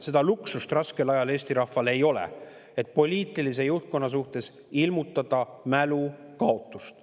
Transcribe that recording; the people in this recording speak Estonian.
Seda luksust raskel ajal Eesti rahval ei ole, et ilmutada poliitilise juhtkonna suhtes mälukaotust.